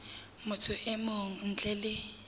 motho e mong ntle le